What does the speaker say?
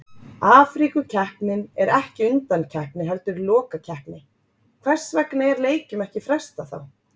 Afríkukeppnin er ekki undankeppni heldur lokakeppni, hvers vegna er leikjum ekki frestað þá?